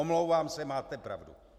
Omlouvám se, máte pravdu.